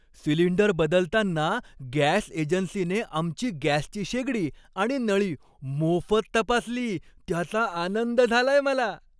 Cylinder बदलताना gas एजन्सीने आमची गॅसची शेगडी आणि नळी मोफत तपासली, त्याचा आनंद झालाय मला.